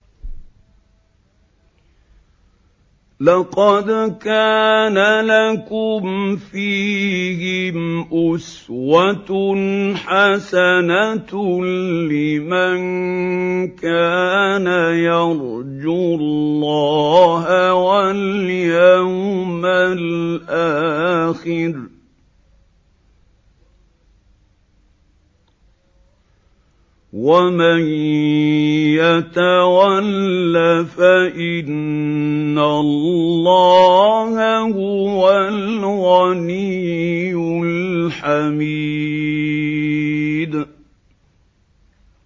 لَقَدْ كَانَ لَكُمْ فِيهِمْ أُسْوَةٌ حَسَنَةٌ لِّمَن كَانَ يَرْجُو اللَّهَ وَالْيَوْمَ الْآخِرَ ۚ وَمَن يَتَوَلَّ فَإِنَّ اللَّهَ هُوَ الْغَنِيُّ الْحَمِيدُ